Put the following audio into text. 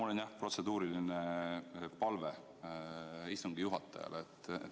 Jaa, mul on protseduuriline palve istungi juhatajale.